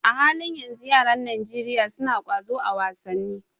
A halin yanzu, yaran Najeriya suna ƙwazo a wasanni.